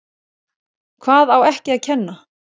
Hvað á ekki að kenna?